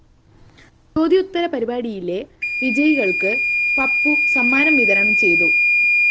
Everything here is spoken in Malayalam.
ചോദ്യോത്തര പരിപാടിയിലെ വിജയികള്‍ക്ക് പപ്പു സമ്മാനം വിതരണം ചെയ്തു